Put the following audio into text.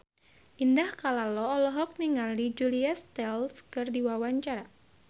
Indah Kalalo olohok ningali Julia Stiles keur diwawancara